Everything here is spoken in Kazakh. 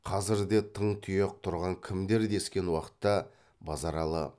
қазірде тың тұяқ тұрған кімдер дескен уақытта базаралы